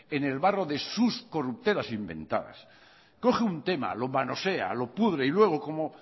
en el barro de sus corruptelas inventadas coge un tema lo manosea lo pudre y luego como